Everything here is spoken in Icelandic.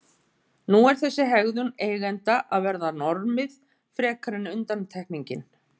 Nú er þessi hegðun eigenda að verða normið frekar en undantekningin.